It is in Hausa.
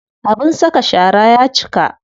Abin saka shara ya cika.